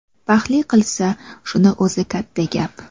Baxtli qilsa, shuni o‘zi katta gap”.